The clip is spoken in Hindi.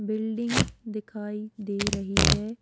बिल्डिंग दिखाई दे रही है।